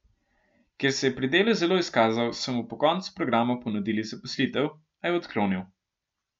Ker se je pri delu zelo izkazal, so mu po koncu programa ponudili zaposlitev, a je odklonil.